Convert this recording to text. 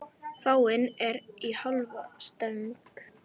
Fáninn er í hálfa stöng.